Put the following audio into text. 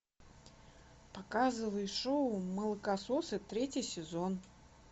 показывай шоу молокососы третий сезон